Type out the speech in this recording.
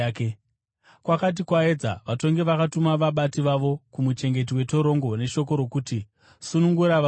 Kwakati kwaedza, vatongi vakatuma vabati vavo kumuchengeti wetorongo neshoko rokuti: “Sunungura varume vaya.”